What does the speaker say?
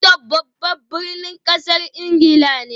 London babban birnin kasar Ingila ne